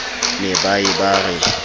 ne ba ye ba re